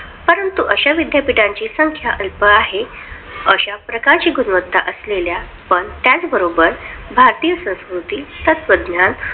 परंतु अश्या विद्यापीठाची संख्या अल्प आहे. अश्या प्रकारचे गुणवत्ता असलेल्या पण त्याचबरोबर भारतीय संस्कृती तत्त्वज्ञान